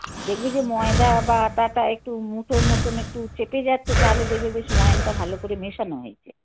দেখবে যে ময়দা বা আটাটা একটু মুঠোর মতন একটু চেপে যাচ্ছে তাহলে দেখবে বেশ ময়ান টা ভালো করে মেশানো হয়েছে. হুম.